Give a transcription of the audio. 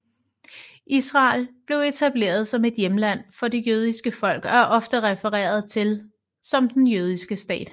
Israel blev etableret som et hjemland for det jødiske folk og er ofte refereret til som den jødiske stat